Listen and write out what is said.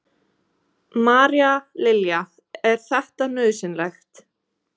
María Lilja: Er þetta nauðsynlegt?